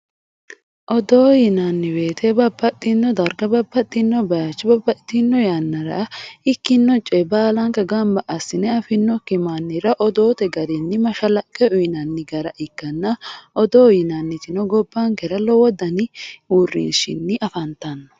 odoo yinanni woyiite babbaxinno darga babbaxinno bayiicho babbaxitino yanara ikkinno coye baalanka gamba assine afinnokki mannira odoo garinni mashalaqqe uyiinanni gara ikkanna odoo yinannitino gobankera lowo daninni uurinshinni afantanno